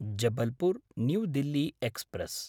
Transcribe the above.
Jabalpur new Delhi express